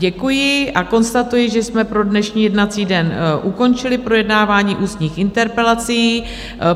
Děkuji a konstatuji, že jsme pro dnešní jednací den ukončili projednávání ústních interpelací.